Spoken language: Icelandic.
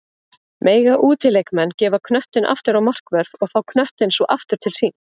Mega útileikmenn gefa knöttinn aftur á markvörð og fá knöttinn svo aftur til sín?